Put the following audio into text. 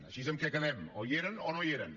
així en què quedem o hi eren o no hi eren